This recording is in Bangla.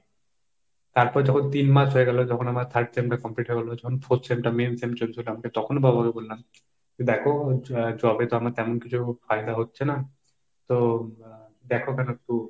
তারপরে যখন তিন মাস হয়ে গেল যখন আবার third sem টা complete হয়ে গেল, যখন fourth sem টা main sem চলছে, এমনকি তখনও বাবাকে বললাম যে দেখো job এ তো আমার তেমন কিছু ফায়দা হচ্ছে না তো আহ দেখো যেন একটু,